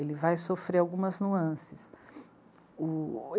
Ele vai sofrer algumas nuances. O...